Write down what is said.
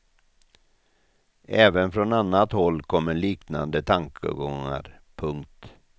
Även från annat håll kommer liknande tankegångar. punkt